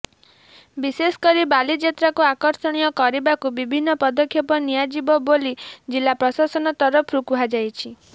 ବିଶେଷ କରି ବାଲିଯାତ୍ରାକୁ ଆକର୍ଷଣୀୟ କରିବାକୁ ବିଭିନ୍ନ ପଦକ୍ଷେପ ନିଆଯିବ ବୋଲି ଜିଲ୍ଲା ପ୍ରଶାସନ ତରଫରୁ କୁହାଯାଇଛି